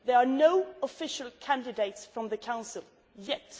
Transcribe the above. there are no official candidates from the Council